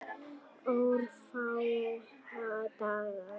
Örfáa daga.